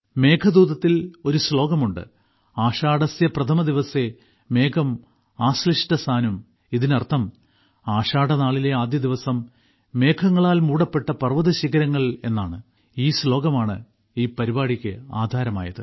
മേഘദൂതത്തിൽ ഒരു ശ്ലോകമുണ്ട് ആഷാഢസ്യപ്രഥമദിവസേ മേഘം ആശ്ലിഷ്ടസാനും ഇതിനർത്ഥം ആഷാഢനാളിലെ ആദ്യദിവസം മേഘങ്ങളാൽ മൂടപ്പെട്ട പർവതശിഖരങ്ങൾ എന്നാണ് ഈ ശ്ലോകമാണ് ഈ പരിപാടിക്ക് ആധാരമായത്